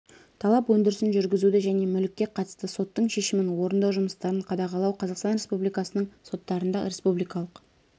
талап өндірісін жүргізуді және мүлікке қатысты соттың шешімін орындау жұмыстарын қадағалау қазақстан республикасының соттарында республикалық